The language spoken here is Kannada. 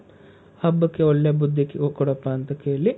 ಹಬ್ಬಕ್ಕೆ ಒಳ್ಳೆ ಬುದ್ದಿ ಕೊಡಪ್ಪ ಅಂತ ಕೇಳಿ,